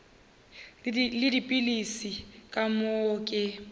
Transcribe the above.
le dipilisi ka moo ke